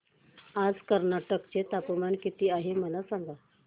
आज कर्नाटक चे तापमान किती आहे मला सांगा